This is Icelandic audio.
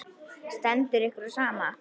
Stendur ykkur á sama?